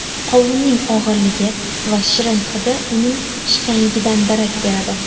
Qovunning og‘irligi va shirin hidi uning pishganligidan darak beradi.